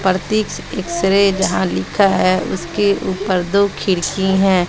प्रतीक X-ray जहां लिखा है उसके ऊपर दो खिड़की है।